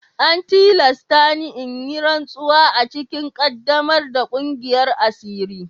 An tilasta ni in yi rantsuwa a cikin ƙaddamar da ƙungiyar asiri.